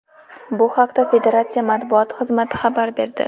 Bu haqda federatsiya matbuot xizmati xabar berdi .